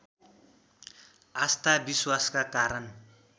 आस्था विश्वासका कारण